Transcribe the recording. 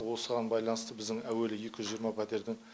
осыған байланысты біздің әуелі екі жүз жиырма пәтердің